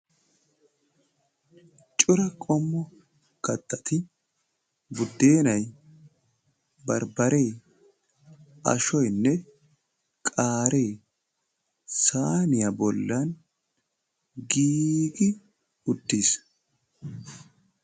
Cora qommo kattati buddennay, barbbaree, ashoynne qaaree, saaniya bollan giiggi uttiis.